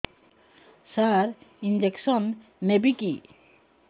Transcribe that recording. ସାର injection ନେବିକି